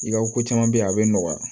I ka ko caman be yen a bɛ nɔgɔya